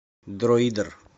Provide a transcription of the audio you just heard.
дроидер